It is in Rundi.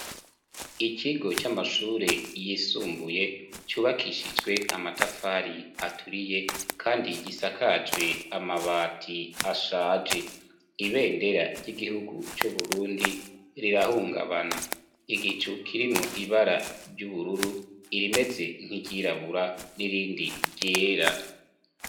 Ikigo c'amashure yisumbuye cubakishijwe amatafari aturiye kandi gisakajwe amabati ashaje. Ibendera ry'igihugu c'uburundi rirahungabana, igicu kirimwo ibara ry'ubururu, irimeze nk'iryirabura n'irindi ryera.